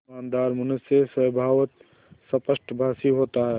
ईमानदार मनुष्य स्वभावतः स्पष्टभाषी होता है